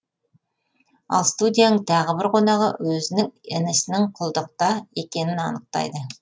ал студияның тағы бір қонағы өзінің інісінің құлдықта екенін анықтайды